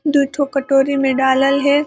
दू ठो कटोरी में डालल हैं ।